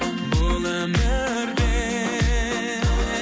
бұл өмірде